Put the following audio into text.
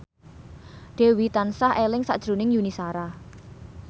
Dewi tansah eling sakjroning Yuni Shara